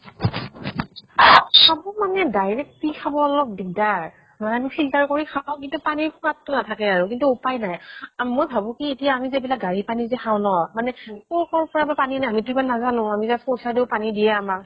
চাব মানে direct পি খাব অলপ দিগ্দাৰ। ধৰা আমি filter কৰি খাওঁ, কিন্তু পানীৰ সোৱাদ টো নাথাকে আৰু। কিন্তু উপাই নাই। আম মই ভাবো কি আমি যে এইবিলাক গাড়ীৰ পানী যে খাওঁ ন, মানে কʼৰ কʼৰ পৰা বা পানী আনে, আমি টো নাজানো। আমি just পইচা দিওঁ পানী দিয়ে আমাক।